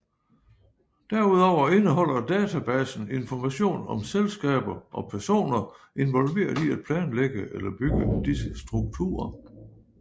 Derudover indeholder databasen information om selskaber og personer involveret i at planlægge eller bygge disse strukturer